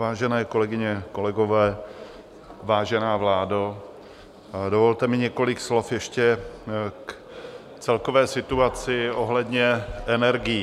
Vážené kolegyně, kolegové, vážená vládo, dovolte mi několik slov ještě k celkové situaci ohledně energií.